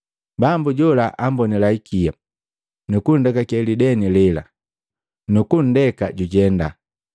Bambu jola ambonila hikia, nu kunndekake lideni lela, nukundeka jujenda.